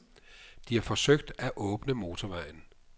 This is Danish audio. De har forsøgt at åbne motorvejen.